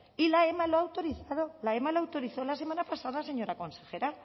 y la ema lo ha autorizado la ema lo autorizó la semana pasada señora consejera